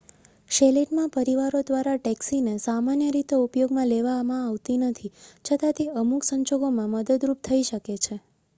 chalet માં પરિવારો દ્વારા ટેક્સી ને સામાન્ય રીતે ઉપયોગમાં લેવામાં આવતી નથી છતાં તે અમુક સંજોગોમાં મદદરૂપ થઈ શકે છે